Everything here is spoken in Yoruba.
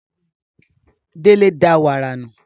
Délé da wàrà nù